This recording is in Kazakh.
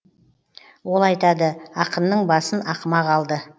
ол айтады ақынның басын ақымақ алды